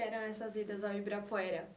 eram essas idas ao Ibirapuera?